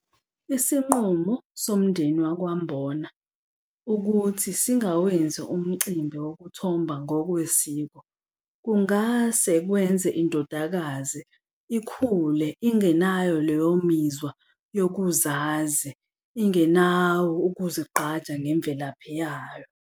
Isinqumo somndeni wakwaMbona ukuthi singawenzi umcimbi wokuthomba ngokwesiko kungase kwenze indodakazi ikhule ingenayo leyo mizwa yokuzazisa ingenawo ukuzigqaja ngemvelaphi yayo.